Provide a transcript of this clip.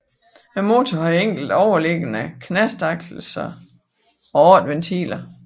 Motoren havde enkelt overliggende knastaksel og 8 ventiler